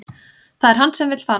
Það er hann sem vill fara